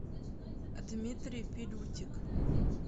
дмитрий пилютик